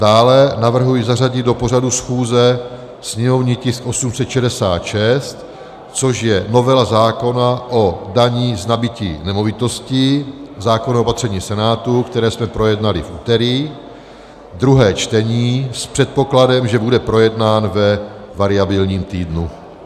Dále navrhuji zařadit do pořadu schůze sněmovní tisk 866, což je novela zákona o dani z nabytí nemovitosti, zákon o opatření Senátu, který jsme projednali v úterý, druhé čtení, s předpokladem, že bude projednán ve variabilním týdnu.